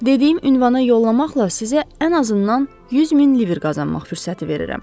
Dediyim ünvana yollamaqla sizə ən azından 100 min liver qazanmaq fürsəti verirəm.